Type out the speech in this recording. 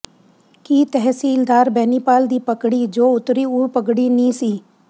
ਕੀ ਤਹਿਸੀਲਦਾਰ ਬੈਨੀਪਾਲ ਦੀ ਪਗੜੀ ਜੋ ਉਤਰੀ ਉਹ ਪਗੜੀ ਨੀ ਸੀ